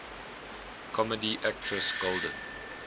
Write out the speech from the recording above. comedy actress golden